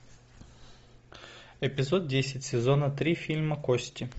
эпизод десять сезона три фильма кости